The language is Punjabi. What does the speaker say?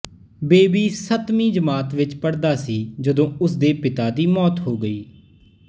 ਬੇਬੀ ਸੱਤਵੀਂ ਜਮਾਤ ਵਿੱਚ ਪੜ੍ਹਦਾ ਸੀ ਜਦੋਂ ਉਸ ਦੇ ਪਿਤਾ ਦੀ ਮੌਤ ਹੋ ਗਈ